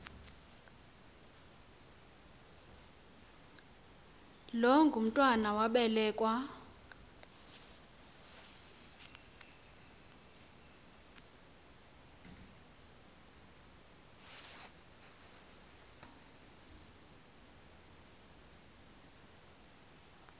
lo mntwana wabelekua